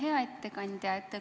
Hea ettekandja!